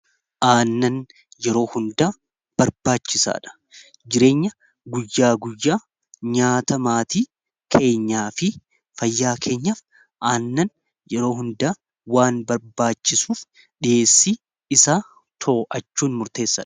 Aannan yeroo hundaa barbaachisaa dha. Jireenya guyyaa guyyaa nyaata maatii keenyaa fi fayyaa keenyaf aannan yeroo hundaa waan barbaachisuuf dhiheessii isa to'achuun murteessaadha.